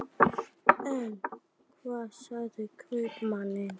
En hvað segja kaupmenn?